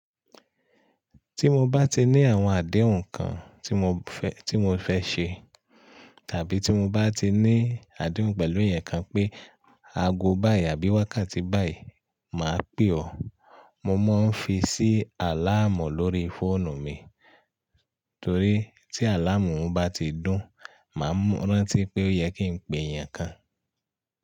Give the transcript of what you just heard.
Tí mo bá ti ní àwọn àdéhùn kan tí mo fẹ́, tí mo fẹ́ ṣe, tàbí tí mo bá ti ní àdéhùn pẹ̀lú èèyàn kan pé a go báyìí àbí wákàtí báyìí, màá pè ọ́. Mo máa ń fi sí àláàmù lórí fóònù mi, torí tí àláàmù bá ti dún, màá rántí pé ó yẹ kí n pe èèyàn kan.